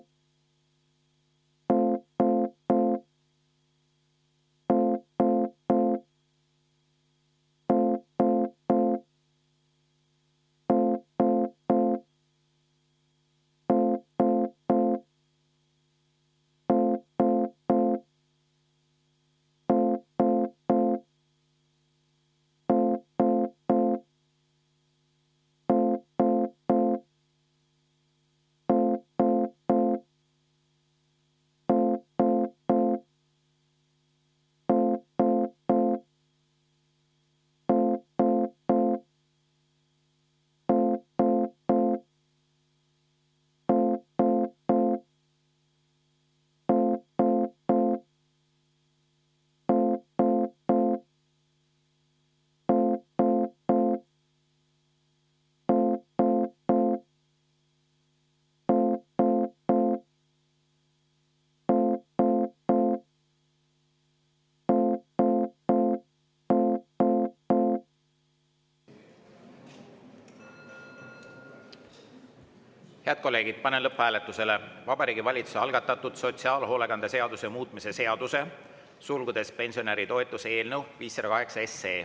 Head kolleegid, panen lõpphääletusele Vabariigi Valitsuse algatatud sotsiaalhoolekande seaduse muutmise seaduse eelnõu 508.